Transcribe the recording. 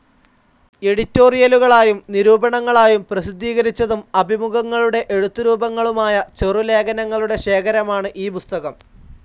എഡിറ്റോറിയലുകളായും നിരൂപണങ്ങളായും പ്രസിദ്ധീകരിച്ചതും അഭിമുഖങ്ങളുടെ എഴുത്തുരൂപങ്ങളുമായ ചെറുലേഖനങ്ങളുടെ ശേഖരമാണ് ഈ പുസ്തകം.